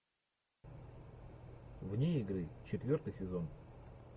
вне игры четвертый сезон